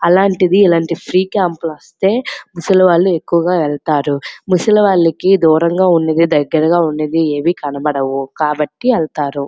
అలాంటిది ఇలాంటి free camp లు వస్తే ముసలివాళ్ళు వెళ్తారు ముసలివాళ్లను దూరంగా ఉన్నది దగ్గరగా ఏవి కనబడవు కాబట్టి వెళ్తారు.